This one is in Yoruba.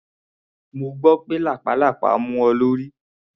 Mo gbọ́ pé lápàlàpá mú ọ lórí.